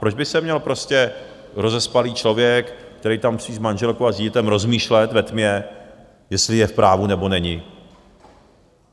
Proč by se měl prostě rozespalý člověk, který tam spí s manželkou a s dítětem, rozmýšlet ve tmě, jestli je v právu, nebo není?